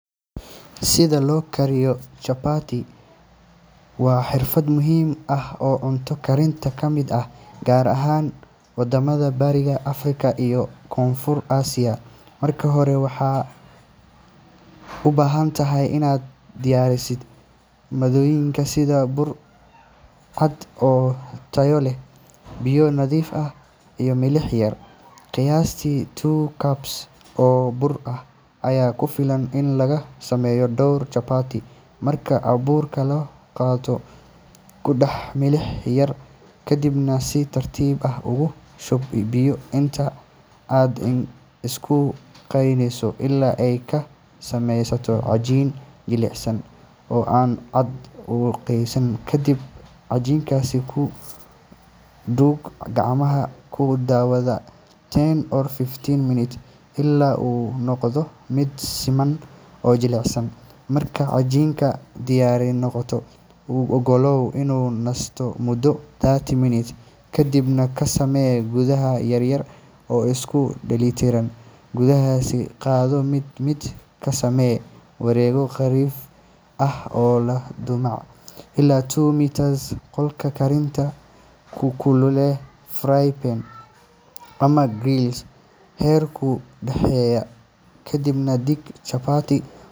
Sida loo kariyo chapati waa xirfad muhiim ah oo cunto karinta ka mid ah, gaar ahaan wadamada Bariga Afrika iyo Koonfurta Aasiya. Marka hore, waxaad u baahan tahay inaad diyaariso maaddooyinka sida bur cad oo tayo leh, biyo nadiif ah, iyo milix yar. Qiyaastii two cups oo bur ah ayaa ku filan in laga sameeyo dhowr chapati. Marka burka la qaato, ku dar milix yar kadibna si tartiib ah ugu shub biyo inta aad isku qasayso ilaa ay ka sameysanto cajiin jilicsan oo aan aad u qoyanayn. Kadib cajiinkaas ku duug gacmahaaga ku dhawaad ten to fifteen minutes ilaa uu ka noqdo mid siman oo jilicsan. Marka cajiinka diyaar noqdo, u oggolow inuu nasato muddo thirty minutes, kadibna ka samee kubbad yar yar oo isku dheellitiran. Kubbadahaas qaado mid mid, ka samee wareegyo khafiif ah oo leh dhumuc ilaa two millimeters. Qolka karinta ku kululee frying pan ama griddle heerkul dhexdhexaad ah, kadibna dhig chapati.